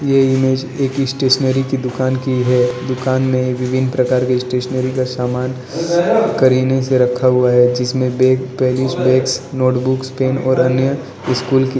ये इमेज एक स्टेशनरी की दुकान की है दुकान मेंविभिन्न प्रकार के स्टेशनरी का सामान करीने से रखा हुआ है जिसमें बैग पेरिस बैग्स नोटबुक्स पेन और अन्य स्कूल कि।